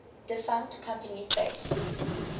defunct companies based